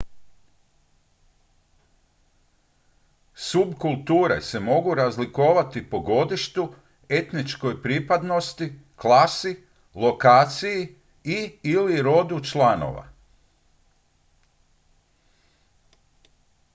subkulture se mogu razlikovati po godištu etničkoj pripadnosti klasi lokaciji i/ili rodu članova